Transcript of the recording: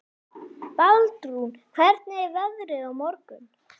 Baldrún, hvernig er veðrið á morgun?